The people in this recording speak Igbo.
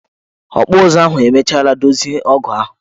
Ọkpụụzụ ahụ emechara dozie ọgụ ahụ?